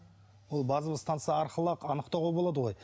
ол базовая станса арқылы ақ анықтауға болады ғой